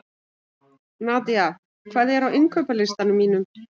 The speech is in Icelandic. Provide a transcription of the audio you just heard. Nadia, hvað er á innkaupalistanum mínum?